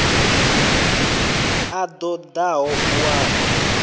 a ṱo ḓaho u wana